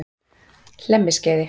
Hlemmiskeiði